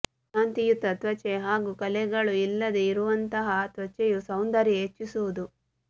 ಕಾಂತಿಯುತ ತ್ವಚೆ ಹಾಗೂ ಕಲೆಗಳು ಇಲ್ಲದೆ ಇರುವಂತಹ ತ್ವಚೆಯು ಸೌಂದರ್ಯ ಹೆಚ್ಚಿಸುವುದು